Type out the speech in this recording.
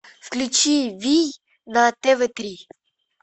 включи вий на тв три